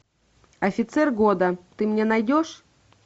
офицер года ты мне найдешь